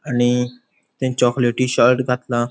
आणि ते चोकलेटी शर्ट घातला.